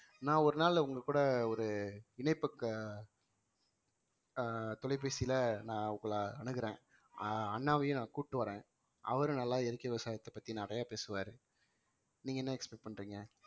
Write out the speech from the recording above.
நான் ஒரு நாள் உங்க கூட ஒரு இணைப்புக்கு ஆஹ் தொலைபேசியில நான் உங்களை அணுகுறேன் ஆஹ் அண்ணாவையும் நான் கூப்பிட்டு வரேன் அவரும் நல்லா இயற்கை விவசாயத்தை பத்தி நிறைய பேசுவாரு நீங்க என்ன expect பண்றீங்க